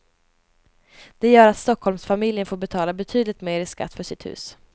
Det gör att stockholmsfamiljen får betala betydligt mer i skatt för sitt hus.